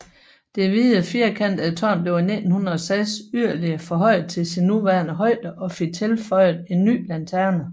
Det hvide firkantede tårn blev i 1906 yderligere forhøjet til sin nuværende højde og fik tilføjet en ny lanterne